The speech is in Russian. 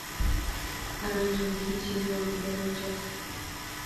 оранжевый хит сезона первая часть